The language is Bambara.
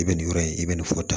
I bɛ nin yɔrɔ in i bɛ nin fɔ tan